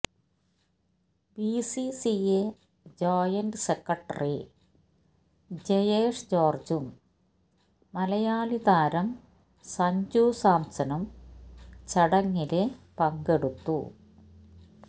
BCCI joint secretary ജയേഷ്ജോര്ജ്ജും മലയാളി താരം സഞ്ജു സാംസണും ചടങ്ങില് പങ്കെടുത്തു